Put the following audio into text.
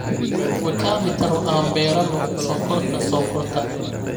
Wekamitaro aan beeranno sonkorta sonkorta